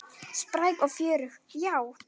Spræk og fjörug, já.